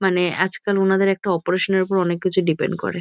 মানে আজকাল ওনাদের একটা অপারেশন -এর উপর অনেককিছু ডিপেন্ড করে ।